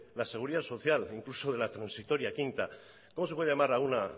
la seguridad social o incluso de la transitoria quinta cómo se puede llamar a una